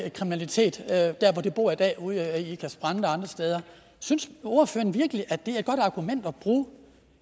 kriminalitet der hvor de bor i dag ude i ikast brande og andre steder synes ordføreren virkelig at det er et godt argument at bruge